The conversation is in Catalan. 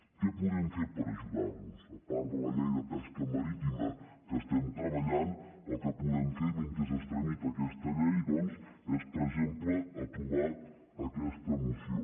què podem fer per ajudarlos a part de la llei de pesca marítima en què estem treballant el que podem fer mentre es tramita aquesta llei doncs és per exemple aprovar aquesta moció